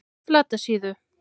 Flatasíðu